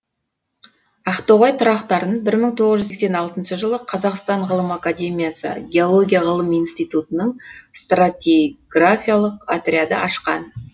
ақтоғай тұрақтарын бір мың тоғыз жүз сексен алтыншы жылы қазақстан ғылым академиясы геология ғылым институтының стратиграфиялық отряды ашқан